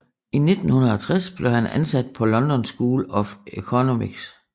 I 1960 blev han ansat på London School of Economics